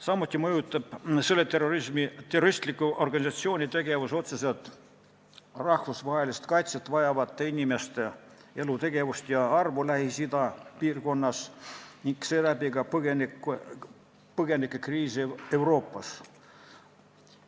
Samuti mõjutab selle terroristliku organisatsiooni tegevus otseselt rahvusvahelist kaitset vajavate inimeste elutegevust ja arvu Lähis-Ida piirkonnas ning seeläbi ka põgenikekriisi Euroopas.